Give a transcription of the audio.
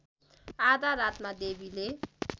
आधा रातमा देवीले